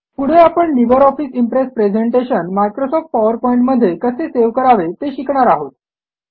पुढे आपण Libre Office Impress presentation Microsoft PowerPoint मध्ये कसे सेव्ह करावे ते शिकणार आहोत